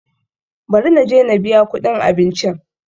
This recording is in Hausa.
Bari na je na biya kuɗin abincin.